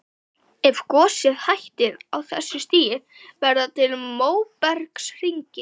Ef gosið hættir á þessu stigi verða til móbergshryggir.